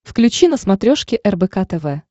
включи на смотрешке рбк тв